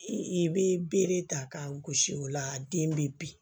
I bɛ bere ta k'a gosi o la den be bin